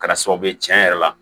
Kɛra sababu ye tiɲɛ yɛrɛ la